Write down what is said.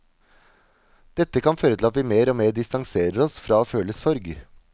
Dette kan føre til at vi mer og mer distanserer oss fra å føle sorg.